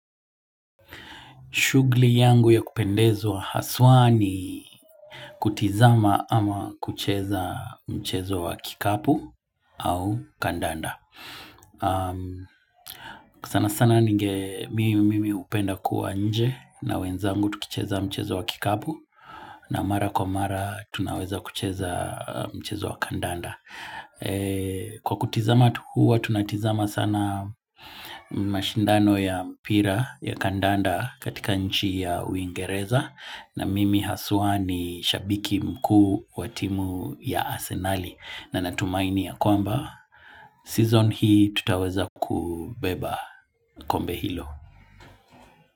Shugli yangu ya kupendezwa haswaa ni kutizama ama kucheza mchezo wa kikapu au kandanda. Sana sana mimi hupenda kuwa nje na wenzangu tukicheza mchezo wa kikapu na mara kwa mara tunaweza kucheza mchezo wa kandanda. Kwa kutizama tu huwa tunatizama sana mashindano ya mpira ya kandanda katika nchi ya uingereza. Na mimi haswa ni shabiki mkuu wa timu ya Asenali na natumainia kwamba season hii tutaweza kubeba kombe hilo.